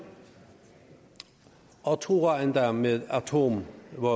og truer endda med atomvåben